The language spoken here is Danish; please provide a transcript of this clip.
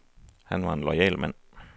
Han var en loyal mand.